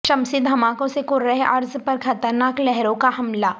شمسی دھماکوں سے کرہ ارض پرخطرناک لہروں کا حملہ